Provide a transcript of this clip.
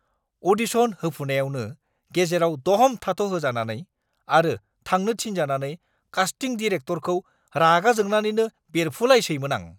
Audition होफुनायावनो गेजेराव दह'म थाथ'होजानानै आरो थांनो थिनजानानै कास्टिं डिरेकट'रखौ रागा जोंनानैनो बेरफुलायसैमोन आं।